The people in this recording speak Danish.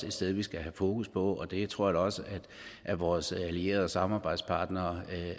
et sted vi skal have fokus på og det tror jeg også vores allierede og samarbejdspartnere